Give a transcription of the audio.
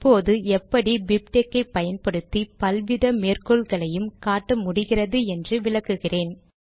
இப்போது எப்படி பிப்டெக்ஸ் ஐ பயன்படுத்தி பலவித மேற்கோள்களையும் காட்ட முடிகிறது என்று விளக்குகிறேன்